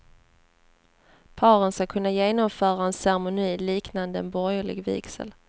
Paren ska kunna genomföra en ceremoni liknade en borgerlig vigsel.